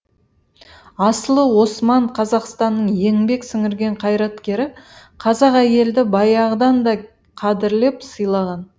асылы осман қазақстанның еңбек сіңірген қайраткері қазақ әйелді баяғыдан да қадірлеп сыйлаған